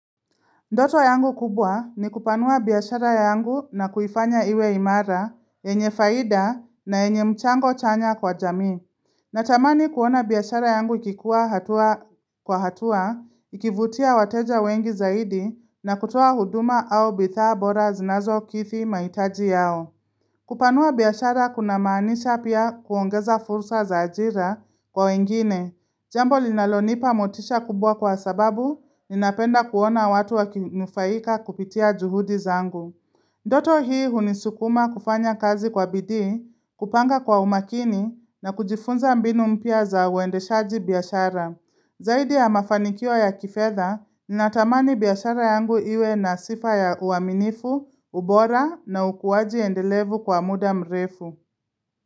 Ndoto yangu kubwa ni kupanua biyashara yangu na kuifanya iwe imara, enye faida na enye mchango chanya kwa jami. Natamani kuona biyashara yangu ikikuwa kwa hatua, ikivutia wateja wengi zaidi na kutoa huduma au bithaa bora zinazo kithi maitaji yao. Kupanua biyashara kunamaanisha pia kuongeza fursa za ajira kwa wengine, jambo linalonipa motisha kubwa kwa sababu ninapenda kuona watu wakinufaika kupitia juhudi zangu. Ndoto hii hunisukuma kufanya kazi kwa bidi, kupanga kwa umakini na kujifunza mbinu mpia za uendeshaji biyashara. Zaidi ya mafanikio ya kifedha, natamani biyashara yangu iwe na sifa ya uaminifu, ubora na ukuwaji endelevu kwa muda mrefu.